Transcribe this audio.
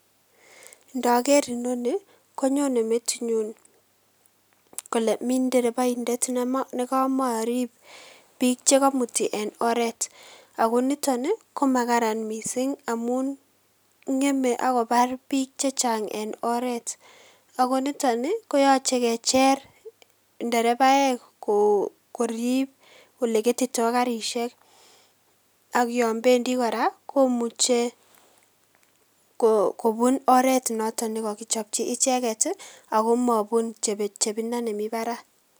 ndoger inoni konyone metinyun kole mii ndereboindet nekomorib biik chegomuti en oret ago niton ii komakaran missing amun ngeme ak kobar biik chechaang en oret ago niton ii koyche kecher nderebaek korib ole ketitoo garishek ak yon bendi koraa komuche kobuun oret noton nekokichopji icheget ii ago mobun chepchepindo nemi barak